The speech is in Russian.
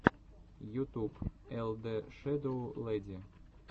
ютуб эл дэ шэдоу лэди